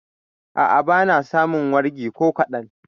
A'a, ba na samun wargi ko kaɗan.